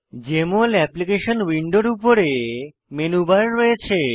JML application উইন্ডোর উপরে menu bar রয়েছে